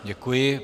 Děkuji.